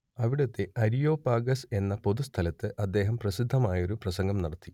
അവിടത്തെ അരിയോപാഗസ് എന്ന പൊതുസ്ഥലത്ത് അദ്ദേഹം പ്രസിദ്ധമായൊരു പ്രസംഗം നടത്തി